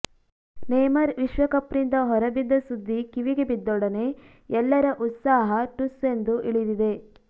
ನೇಮರ್ ವಿಶ್ವಕಪ್ನಿಂದ ಹೊರಬಿದ್ದ ಸುದ್ದಿ ಕಿವಿಗೆ ಬಿದ್ದೊಡನೆ ಎಲ್ಲರ ಉತ್ಸಾಹ ಠುಸ್ಸೆಂದು ಇಳಿದಿದೆ